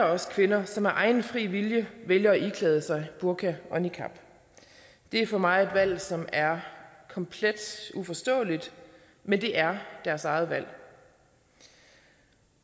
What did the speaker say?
også kvinder som af egen fri vilje vælger at iklæde sig burka og niqab det er for mig et valg som er komplet uforståeligt men det er deres eget valg